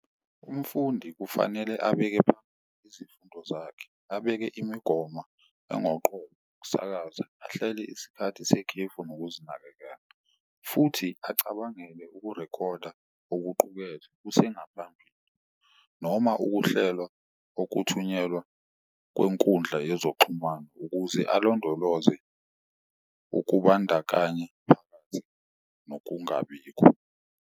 Umfundi kufanele abeke izifundo zakhe, abeke imigomo ukusakaza ahlele isikhathi sekhefu nokuzinakekela futhi acabangele ukurekhoda okuqukethwe kusengaphambili. Noma ukuhlelwa okuthunyelwa kwenkundla yezokuxhumana ukuze alondoloze ukubandakanye phakathi nokungabikho.